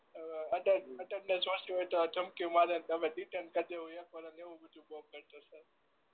અઅ અટે અટેન્ડન્સ ઓછી હોય તો તમેએવું બધુંથાય